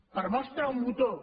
per mostra un botó